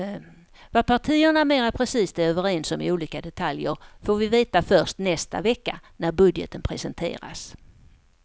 Vad partierna mera precist är överens om i olika detaljer får vi veta först nästa vecka när budgeten presenteras.